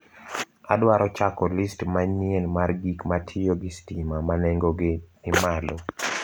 Adwaro chako list manyien mar gik matiyo gi stima ma nengogi ni malo.